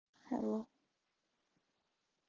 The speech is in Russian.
алло